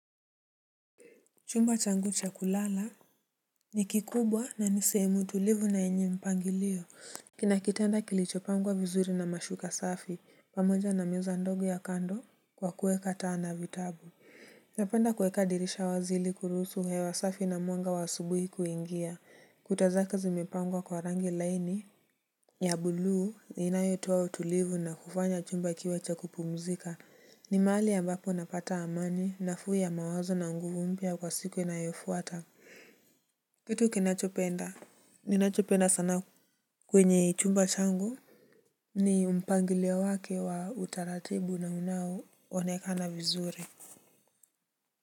Chumba changu cha kulala ni kikubwa na ni sehemu tulivu na yenye mpangilio kina kitanda kilicho pangwa vizuri na mashuka safi, pamoja na meza ndogo ya kando kwa kuweka taa na vitabu napenda kuweka dirisha wazi ili kuruhusu hewa safi na mwanga wa asubuhi kuingia kuta zake zimipangwa kwa rangi laini ya bluu inayotoa utulivu na kufanya chumba kiwe cha kupumzika ni mahali ambapo napata amani, nafuu ya mawazo na nguvu mpya kwa siku inayofuata kitu ninachopenda sana kwenye chumba changu, ni mpangilio wake wa utaratibu na unao onekana vizuri.